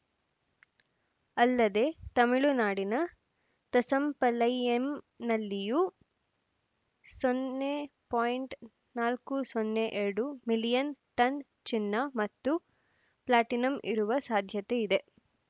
ಅಲ್ಲದೆ ತಮಿಳುನಾಡಿನ ತಸಂಪಲೈಯಂ ನಲ್ಲಿಯೂ ಸೊನ್ನೆ ಪಾಯಿಂಟ್ ನಾಲ್ಕು ಸೊನ್ನೆ ಎರಡು ಮಿಲಿಯನ್‌ ಟನ್‌ ಚಿನ್ನ ಮತ್ತು ಪ್ಲಾಟಿನಂ ಇರುವ ಸಾಧ್ಯತೆಯಿದೆ